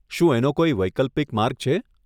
શું એનો કોઈ વૈકલ્પિક માર્ગ છે?